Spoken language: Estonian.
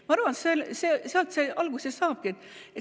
Ma arvan, et sealt see alguse saabki.